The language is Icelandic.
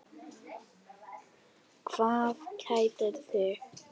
Hvað kætir þig?